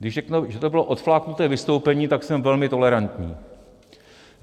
Když řeknu, že to bylo odfláknuté vystoupení, tak jsem velmi tolerantní.